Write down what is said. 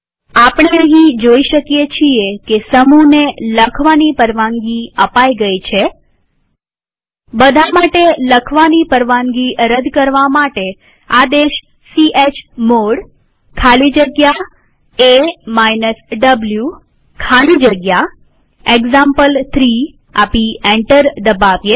આપણે અહીં જોઈ શકીએ છીએ કે સમૂહને લખવાની પરવાનગી અપાઈ ગઈ છે બધા માટે લખવાની પરવાનગી રદ કરવા માટે આદેશ ચમોડ ખાલી જગ્યા a વો ખાલી જગ્યા એક્ઝામ્પલ3 આપી એન્ટર દબાવીએ